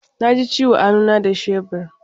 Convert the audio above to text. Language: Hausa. Na ji ciwo a hannu na da shebur.